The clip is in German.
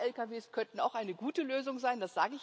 Lang Lkw könnten auch eine gute Lösung sein.